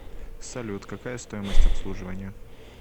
салют какая стоимость обслуживания